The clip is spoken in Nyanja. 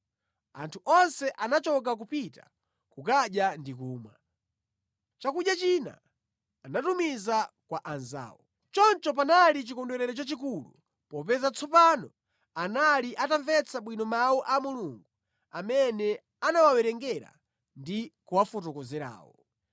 Anthu onse anachoka kupita kukadya ndi kumwa. Chakudya china anatumiza kwa anzawo. Choncho panali chikondwerero chachikulu popeza tsopano anali atamvetsa bwino mawu a Mulungu amene anawawerengera ndi kuwafotokozerawo.